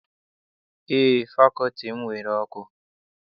Eé, fakọlti m nwere ọkụ.